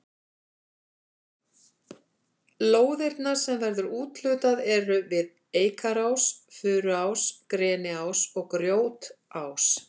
Lóðirnar sem verður úthlutað eru við Eikarás, Furuás, Greniás og Grjótás.